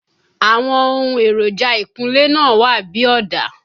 Àwọn ohun èròjà ìkunlé náà wà bí ọ̀dà